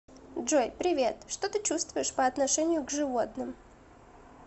джой привет что ты чувствуешь по отношению к животным